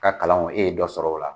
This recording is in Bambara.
O ka kalanw e ye dɔ sɔrɔ o la.